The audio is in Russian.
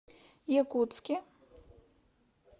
якутске